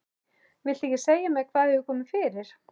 Viltu ekki segja mér hvað hefur komið fyrir?